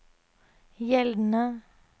gjeldende